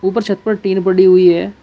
ऊपर छत पर टीन पड़ी हुई है।